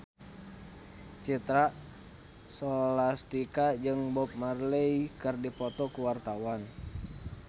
Citra Scholastika jeung Bob Marley keur dipoto ku wartawan